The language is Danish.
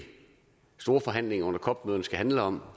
store forhandlinger under cop mødet skal handle om